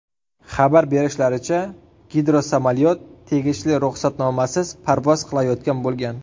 Xabar berishlaricha, gidrosamolyot tegishli ruxsatnomasiz parvoz qilayotgan bo‘lgan.